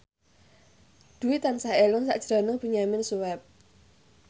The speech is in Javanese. Dwi tansah eling sakjroning Benyamin Sueb